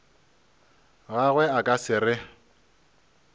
gagwe a ka se re